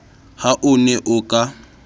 ha o ne o ka